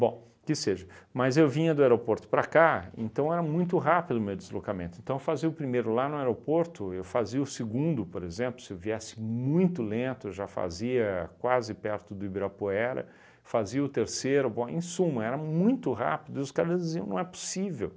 Bom, que seja, mas eu vinha do aeroporto para cá, então era muito rápido o meu deslocamento, então eu fazia o primeiro lá no aeroporto, eu fazia o segundo, por exemplo, se eu viesse muito lento, eu já fazia quase perto do Ibirapuera, fazia o terceiro, bom, em suma, era muito rápido, os caras diziam, não é possível.